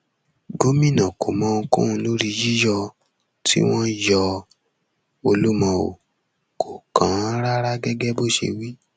gomina kò mọ ohunkóhun lórí yíyọ tí wọn yọ olúmọ o kò kàn án rárá gẹgẹ bó ṣe wí